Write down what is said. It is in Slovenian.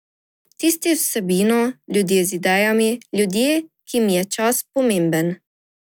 Tisti z vsebino, ljudje z idejami, ljudje, ki jim je čas pomemben.